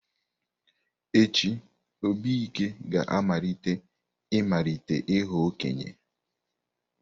Echi, Obike ga-amalite ịmalite ịghọ okenye.